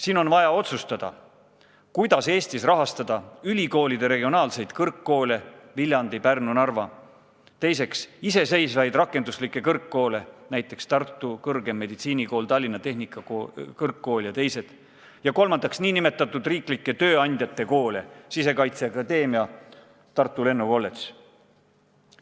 Siin on vaja otsustada, kuidas Eestis rahastada ülikoolide regionaalseid kõrgkoole Viljandis, Pärnus, Narvas; teiseks, iseseisvaid rakenduslikke kõrgkoole, näiteks Tartu Tervishoiu Kõrgkooli, Tallinna Tehnikakõrgkool jt, ning kolmandaks, nn riiklike tööandjate koole, Sisekaitseakadeemiat ja Tartu Lennuakadeemiat.